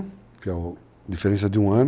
que é a diferença de um ano.